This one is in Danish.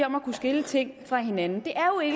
om at kunne skille ting fra hinanden